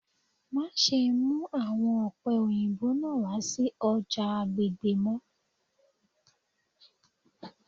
Maṣe mu awọn ope oyinbo naa wa si ọja agbegbe mọ